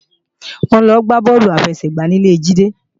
Wọ́n lọ gbá bọ́ọ̀lù àfẹsẹ̀gbá ní ilé Jídé